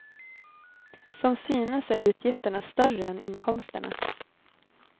Som synes är utgifterna större än inkomsterna.